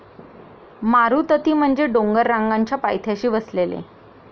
मारुतती म्हणजे डोंगररांगांच्या पायथ्याशी वसलेले.